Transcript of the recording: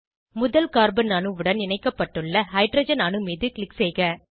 முதல் கார்பன் அணுவுடன் இணைக்கப்பட்டுள்ள ஹைட்ரஜன் அணு மீது க்ளிக் செய்க